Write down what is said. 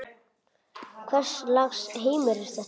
Hvers lags heimur er þetta?